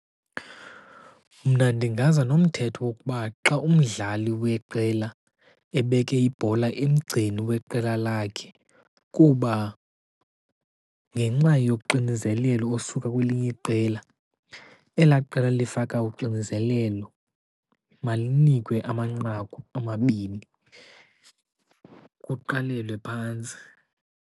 Mna ndingaza nomthetho wokuba xa umdlali weqela ebeke ibhola emgceni weqela lakhe kuba ngenxa yoxinizelelo osuka kwelinye iqela, elaa qela lifaka uxinizelelo malinikwe amanqaku amabini, kuqalelwe phantsi.